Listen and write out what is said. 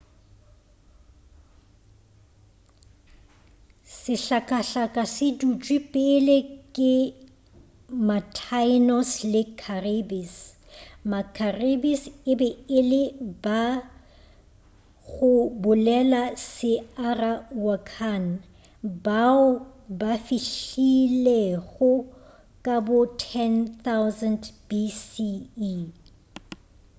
sehlakahlaka se dutšwe pele ke ma-taínos le caribes ma-caribes e be e le ba go bolela se-arawakan bao ba fihlilego ka bo 10,000 bce